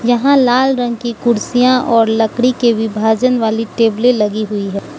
यहां लाल रंग की कुर्सियां और लकड़ी के विभाजन वाली टेबले लगी हुई है।